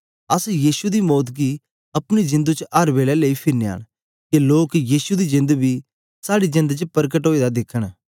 अस यीशु दी मौत गी अपने जिंदु च अर बेलै लेई फिरनयां न के लोक यीशु दी जेंद बी साड़ी जेंद च परकट ओए दा दिखन